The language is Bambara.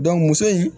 muso in